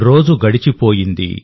రోజు గడిచిపోయింది